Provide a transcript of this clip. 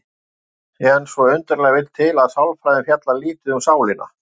En svo undarlega vill til að sálfræðin fjallar lítið um sálina.